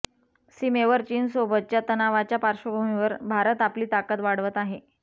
सीमेवर चीनसोबतच्या तणावाच्या पार्श्वभूमीवर भारत आपली ताकद वाढवत आहे